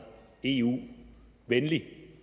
eu venlig